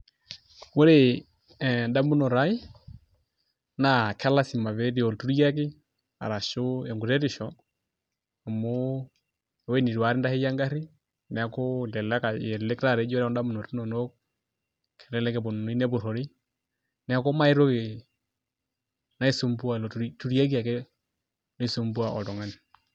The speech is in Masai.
Ore endamunot aai naa kelasima pee etii olturiaki ashu enkuretisho amu ewuei nitu akata aitasheyie engarri neeku elelek taata eji ore ndamunot inonok kelelek eponunui nepurrori neeku mee ai toki naisumbua ilo turiaki akae oisumbua oltung'ani.